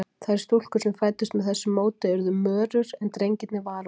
Þær stúlkur sem fæddust með þessu móti urðu mörur, en drengirnir varúlfar.